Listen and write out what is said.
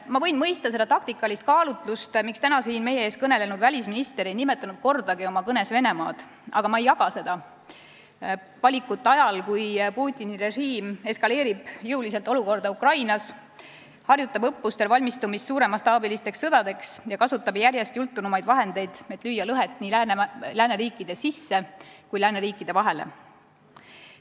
Ma võin mõista seda taktikalist kaalutlust, miks täna siin meie ees kõnelenud välisminister ei nimetanud kordagi oma kõnes Venemaad, aga ma ei jaga seda valikut ajal, kui Putini režiim eskaleerib jõuliselt pingeid Ukrainas, valmistub õppustel suuremastaabilisteks sõdadeks ja kasutab järjest jultunumaid vahendeid, et lüüa lõhet nii lääneriikide sisse kui ka lääneriikide vahele.